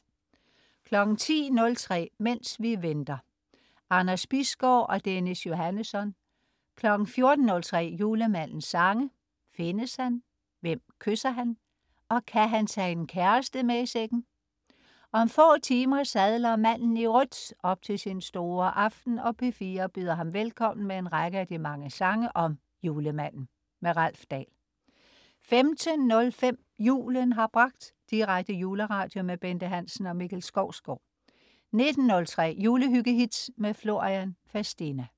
10.03 Mens vi venter. Anders Bisgaard og Dennis Johannesson 14.03 Julemandens sange. Findes han? Hvem kysser han? Og kan han tage en kæreste med i sækken? Om få timer sadler manden i rødt op til sin store aften, og P4 byder ham velkommen med en række af de mange sange om Julemanden. Ralf Dahl 15.03 Julen har bragt. Direkte juleradio med Bente Hansen og Mikkel Skovsgaard 19.03 Julehyggehits. Florian Fastina